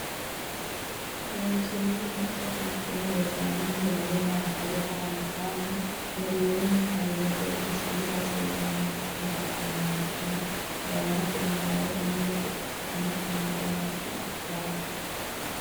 Looseemmo macca fultino dodaano Niwaawe nabbawa yara albaanni mereerinni Hayle Gebresillaase yitanno xa mo xa meemmo a nena dawarate niwaawe ane ledo ikkitine qoonqo naggi qixxaabbe.